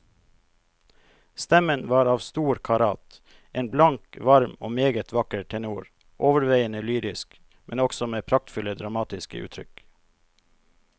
Stemmen var av stor karat, en blank, varm og meget vakker tenor, overveiende lyrisk, men også med praktfulle dramatiske uttrykk.